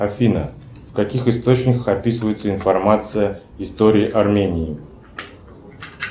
афина в каких источниках описывается информация история армении